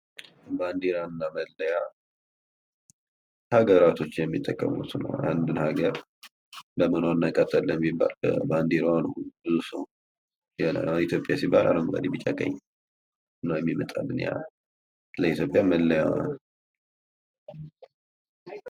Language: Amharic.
ባንዲራ እና መለያ ሀገራቶች የሚጠቀሙት ነው አንድን ሀገር በምን እናቃታለን ቢባል ባንዲራዋ ነው የሆነ ኢትዮጵያ ሲባል አረንጓዴ፥ ቢጫ፥ ቀይ ነው የሚመጣልን ለኢትዮጵያ መለያዋ ነው።